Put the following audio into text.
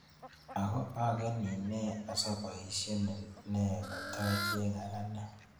Ago ageni nee asaboisienin nee katacheng'e anegen